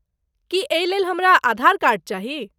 की एहिलेल हमरा आधार कार्ड चाही?